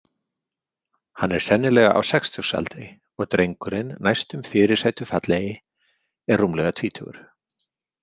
Hann er sennilega á sextugsaldri og drengurinn næstum fyrirsætufallegi er rúmlega tvítugur.